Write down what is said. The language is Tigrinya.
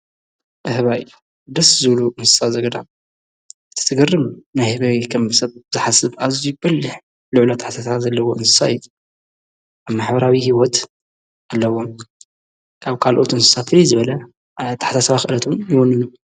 ኣህባይ ደስ ዘሉ እንስሳዘገዳም ዘግርም ናሕበይ ኸም ሰብ ዘሓስብ ኣዙይ በልሕ ልዕሎ ኣሓታታ ዘለዎ እንስሳት ኣብ ማኅበራዊ ሕይወት ኣለዎም ።ካብ ካልኦት ንእንስሳ ፍሊ ዝበለ ታሕታ ሰባ ኽለቱ ይወኑ እዩ።